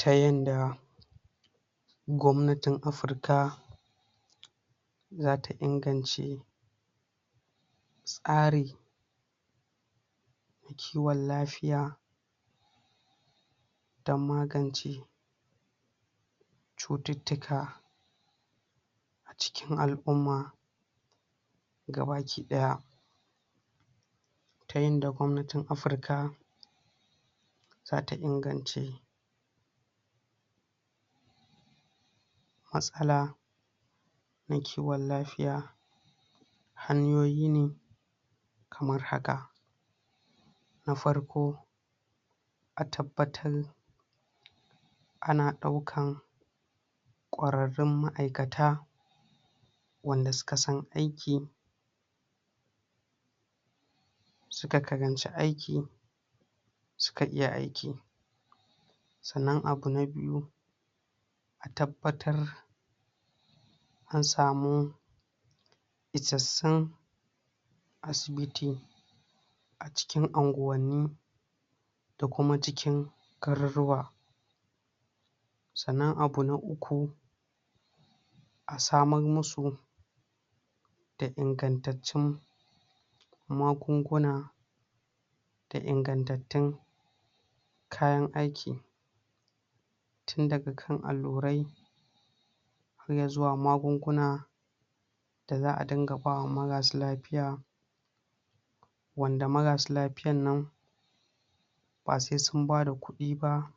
Ta yanda gwamnatin Afirka zata ingance tsarin kiwon lafiya don magance cututtuka a cikin alʼumma gabaki ɗaya ta yanda gwamnatin Afirka zata ingance matsala na kiwon lafiya hanyoyi ne kamar haka; na farko a tabbatar ana ɗaukar ƙwararrun maʼaikata wanda suka san aiki suka karanci aiki suka iya aiki sannan abu na biyu a tabbatar an samu isassun asibiti a cikin anguwanni da kuma cikin garurruwa sannan abu na uku a samar musu da ingantattun magunguna da ingantattun kayan aiki tun daga kan allurai har ya zuwa magunguna da za a dinga ba wa marasa lafiya wanda marasa lafiyan nan ba sai sun bada ƙuɗi ba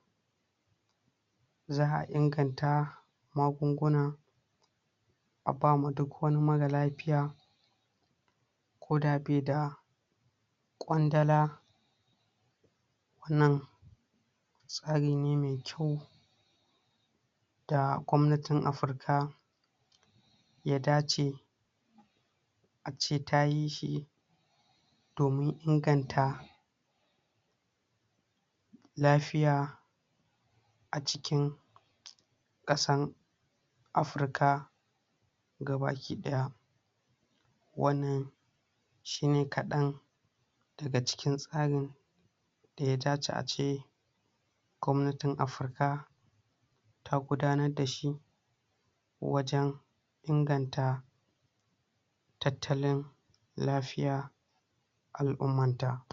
za a inganta magunguna a ba wa duk wani mara lafiya ko da bai da ƙwandala wannan tsari ne mai kyau da gwamnatin Afirka ya dace a ce tayi shi domin inganta lafiya a cikin ƙasan Afirka gabaki ɗaya wannan shi ne kaɗan daga cikin tsarin da ya dace a ce gwamnatin Afirka ta gudanar da shi wajen inganta tattalin lafiyar alʼummanta.